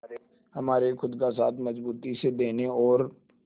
हमारे खुद का साथ मजबूती से देने और